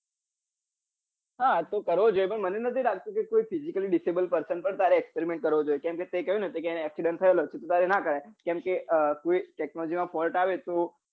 હા તો કરવો જોઈએ પણ મને નાઈ લાગતું કે physically disable person પાર તારે experiment કરવો જોઈએ કમ કે તે કહ્યું ને એને accident થયેલો છે તો તારે ના કરાય કેમ કે આ કો technology માં ફોલ્ટ આવે તો